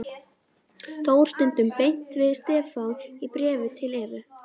Þór stundum beint við Stefán í bréfum til Evu.